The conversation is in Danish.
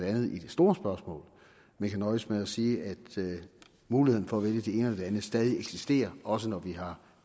andet i det store spørgsmål men kan nøjes med at sige at muligheden for at vælge det det andet stadig eksisterer også når vi har